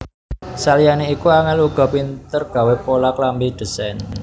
Saliyane iku Angel uga pinter gawé pola klambi ndesain